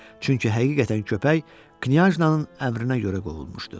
Çünki həqiqətən köpək Knyajna'nın əmrinə görə qovulmuşdu.